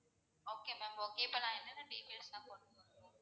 okay ma'am okay இப்போ நான் என்னென்ன details லாம் கொண்டு வரணும்?